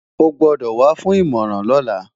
O gbọ́dọ̀ wá fún ìmọ̀ràn lọ́la!